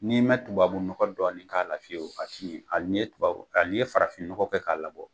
N'i mɛ tubabu nɔgɔ dɔni k'a la fiye a ti yɛn hali ni ye farafin nɔgɔ kɛ k'a labɔ